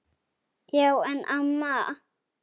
Já en amma.